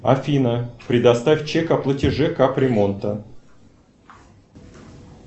афина предоставь чек о платеже капремонта